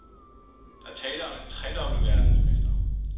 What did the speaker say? Der er tale om en tredobbelt verdensmester.